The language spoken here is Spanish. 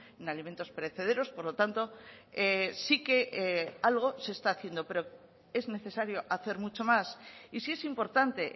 en alimentos perecederos por lo tanto sí que algo se está haciendo pero es necesario hacer mucho más y sí es importante